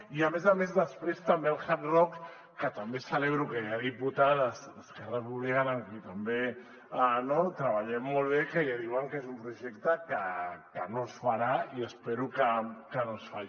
i a més a més després també el hard rock que també celebro que hi ha diputades d’esquerra republicana amb qui també treballem molt bé que ja diuen que és un projecte que no es farà i espero que no es faci